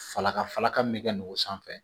Falakala ka min kɛ n'o sanfɛ